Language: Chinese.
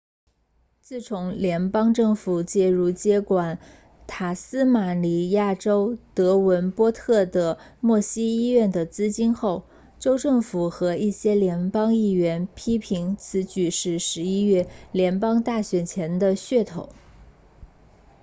自从联邦政府介入接管塔斯马尼亚州德文波特的默西医院的资金后州政府和一些联邦议员批评此举是11月联邦大选前的噱头